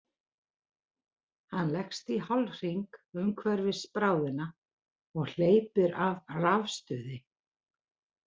Hann leggst í hálfhring umhverfis bráðina og hleypir af rafstuði.